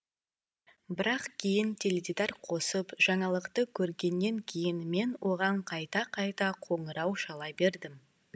бірақ кейін теледидар қосып жаңалықты көргеннен кейін мен оған қайта қайта қоңырау шала бердім